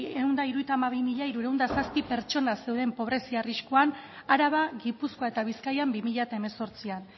ehun eta hirurogeita hamabi mila hirurehun eta zazpi pertsona zeuden pobrezia arriskuan araba gipuzkoa eta bizkaian bi mila hemezortzian